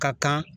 Ka kan